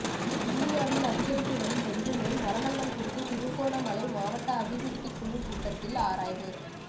கிண்ணியாவில் அதிகரித்துவரும் டெங்கு நோய் மரணங்கள் குறித்து திருகோணமலை மாவட்ட அபிவிருத்திக்குழுக் கூட்டத்தில் ஆராய்வு